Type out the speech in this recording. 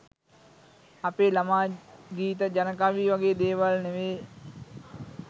අපේ ළමා ගීත ජන කවි වගේ දේවල් නෙවේ